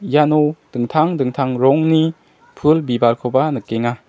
iano dingtang dingtang rongni pul bibalkoba nikenga.